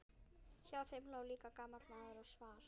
Hjá þeim lá líka gamall maður og svaf.